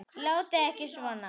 Látið ekki svona.